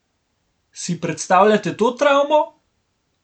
Si predstavljate to travmo?